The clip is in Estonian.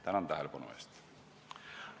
Tänan tähelepanu eest!